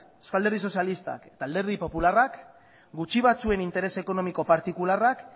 eusko alderdi sozialistak eta alderdi popularrak gutxi batzuen interes ekonomiko partikularrak